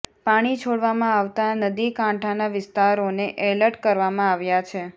પાણી છોડવામાં આવતાં નદીકાંઠાના વિસ્તારોને એલર્ટ કરવામાં આવ્યા છે